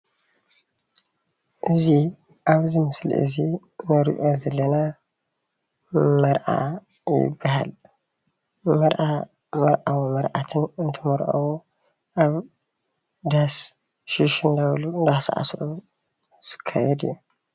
እዚ ኣብ እዚ ምስሊ እዚ እንሪኦ ዘለና መርዓ ይባሃል፡፡ መርዓ መርዊን መርዓትን እንትምርዐዉ ኣብ ዳስ ሽሽ እናበሉ እናሳዕስዑ ዝካየድ እዩ፡፡